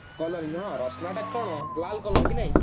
color ନୁହଁ ରଶନା ଟା ତ ଲାଲ color କି ନାଇଁ